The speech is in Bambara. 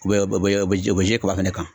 U bɛ u bɛ u bɛ kaba fɛnɛ kan.